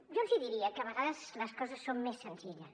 jo els diria que a vegades les coses són més senzilles